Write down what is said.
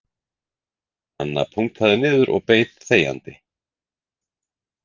Anna punktaði niður og beið þegjandi